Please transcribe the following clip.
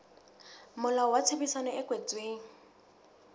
molao wa tshebedisano e kwetsweng